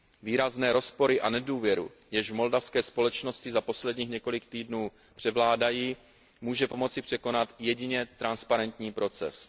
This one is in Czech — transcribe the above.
Výrazné rozpory a nedůvěru, jež v moldavské společnosti za posledních několik týdnů převládají, může pomoci překonat jedině transparentní proces.